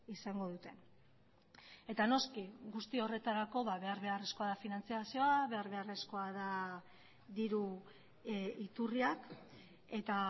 izango duten eta noski guzti horretarako behar beharrezkoa da finantzazioa behar beharrezkoa da diru iturriak eta